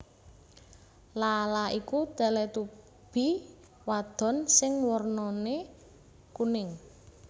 Laa Laa iku Teletubby wadon sing warnané kuning